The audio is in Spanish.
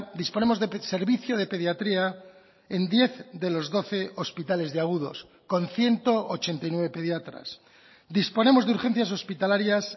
disponemos de servicio de pediatría en diez de los doce hospitales de agudos con ciento ochenta y nueve pediatras disponemos de urgencias hospitalarias